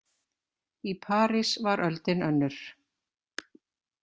Í París var öldin önnur.